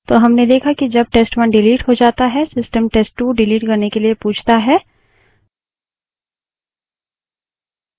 तो हमने देखा कि जब test1 डिलीट हो जाता है system test2 डिलीट करने से पहले पूछता है